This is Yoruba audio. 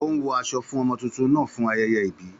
Ó ń wọ aṣọ fún ọmọ tuntun náà fún ayẹyẹ ìbí